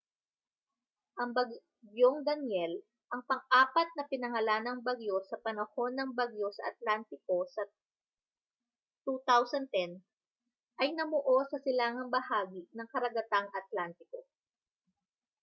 ang bagyong danielle ang pang-apat na pinangalanang bagyo sa panahon ng bagyo sa atlantiko sa 2010 ay namuo sa silangang bahagi ng karagatang atlantiko